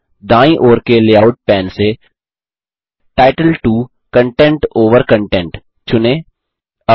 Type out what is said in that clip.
अब दायीँ ओर के लेआउट पैन से टाइटल 2 कंटेंट ओवर कंटेंट चुनें